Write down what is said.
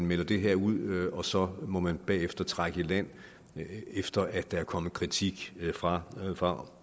melder det her ud og så må man bagefter trække i land efter at der er kommet kritik fra fra